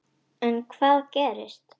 En hvað gerist.